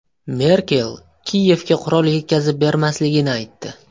Merkel Kiyevga qurol yetkazib bermasligini aytdi.